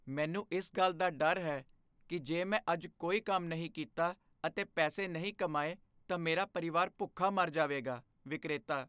ਮੈਨੂੰ ਇਸ ਗੱਲ ਦਾ ਡਰ ਹੈ ਕੀ ਜੇ ਮੈਂ ਅੱਜ ਕੋਈ ਕੰਮ ਨਹੀਂ ਕੀਤਾ ਅਤੇ ਪੈਸੇ ਨਹੀਂ ਕਮਾਏ, ਤਾਂ ਮੇਰਾ ਪਰਿਵਾਰ ਭੁੱਖਾ ਮਰ ਜਾਵੇਗਾ ਵਿਕਰੇਤਾ